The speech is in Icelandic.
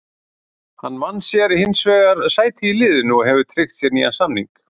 Hann vann sér hins vegar sæti í liðinu og hefur tryggt sér nýjan samning.